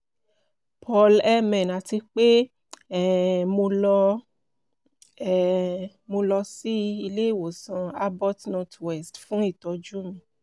paul mn ati pe um mo lọ um mo lọ si ile-iwosan abbot northwestern fun itọju mi